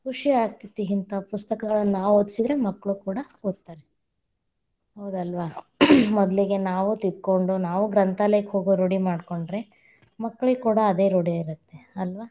ಖುಷಿಯಾಗತೇತಿ ಹಿಂಥಾವ ಪುಸ್ತಕಗಳನ್ನ, ನಾವ್‌ ಓದಿಸಿದ್ರ ಮಕ್ಕಳು ಕೂಡಾ ಒದ್ತಾರೆ, ಹೌದಲ್ವಾ? ಮೊದಲಿಗೆ ನಾವ್‌ ತಿದ್ದಕೊಂಡು ನಾವು ಗ್ರಂಥಾಲಯಕ್ಕ ಹೋಗೋ ರೂಢಿ ಮಾಡ್ಕೊಂಡ್ರೆ, ಮಕ್ಕಳಿಗ ಕೂಡಾ ಅದೇ ರೂಢಿಯಾಗತ್ತೆ ಅಲ್ವಾ.